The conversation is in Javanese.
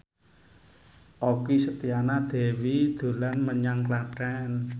Okky Setiana Dewi dolan menyang Klaten